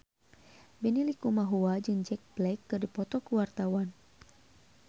Benny Likumahua jeung Jack Black keur dipoto ku wartawan